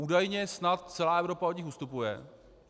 Údajně snad celá Evropa od nich ustupuje.